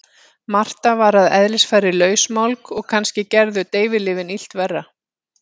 Marta var að eðlisfari lausmálg og kannski gerðu deyfilyfin illt verra.